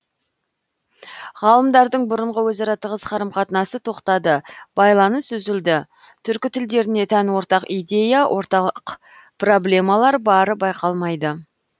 ғалымдардың бұрынғы өзара тығыз қарым қатынасы тоқтады байланыс үзілді түркі тілдеріне тән ортақ идея ортақ проблемалар бары байқалмайды